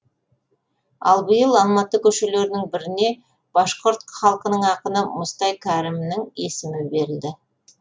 ал биыл алматы көшелерінің біріне башқұрт халқының ақыны мұстай кәрімінің есімі берілді